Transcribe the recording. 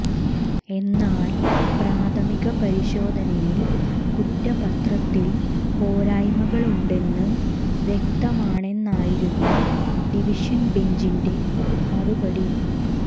എന്നാൽ പ്രാഥമിക പരിശോധനയിൽ കുറ്റപത്രത്തിൽ പോരായമകളുണ്ടെന്ന് വ്യക്തമാണെന്നായിരുന്നു ഡിവിഷൻ ബെഞ്ചിന്റെ മറുപടി